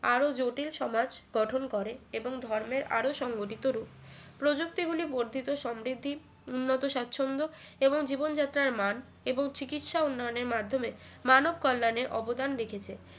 আরো জটিল সমাজ গঠন করে এবং ধর্মের আরো সংগঠিত রূপ প্রযুক্তি গুলি বর্ধিত সমৃদ্ধি উন্নত স্বাচ্ছন্দ এবং জীবনযাত্রার মান এবং চিকিৎসা উন্নয়নের মাধ্যমে মানব কল্যাণে অবদান রেখেছে